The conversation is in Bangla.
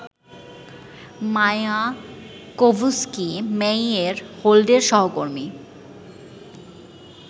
মায়াকোভস্কি-মেইয়ের হোল্ডের সহকর্মী